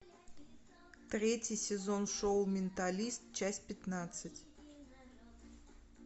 третий сезон шоу менталист часть пятнадцать